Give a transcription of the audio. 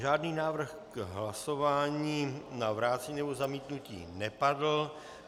Žádný návrh k hlasování na vrácení nebo zamítnutí nepadl.